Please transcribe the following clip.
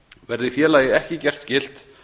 verði félagi ekki gert skylt